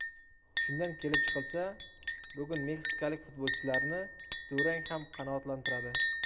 Shundan kelib chiqilsa, bugun meksikalik futbolchilarni durang ham qanoatlantiradi.